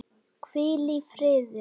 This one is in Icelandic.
Hvíl í friði!